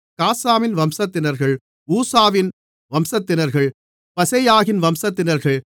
காசாமின் வம்சத்தினர்கள் ஊசாவின் வம்சத்தினர்கள் பாசெயாகின் வம்சத்தினர்கள்